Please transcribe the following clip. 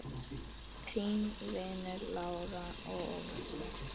Þínir vinir Lára og Óli.